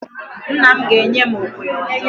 Nna m ga-enye m okwe ọzọ.